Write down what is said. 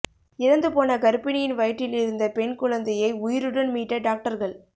இறந்து போன கர்ப்பிணியின் வயிற்றில் இருந்த பெண் குழந்தையை உயிருடன் மீட்ட டாக்டர்கள்